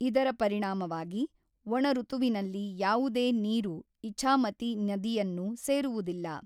ಇದರ ಪರಿಣಾಮವಾಗಿ, ಒಣ ಋತುವಿನಲ್ಲಿ ಯಾವುದೇ ನೀರು ಇಛಾಮತಿ ನದಿಯನ್ನು ಸೇರುವುದಿಲ್ಲ.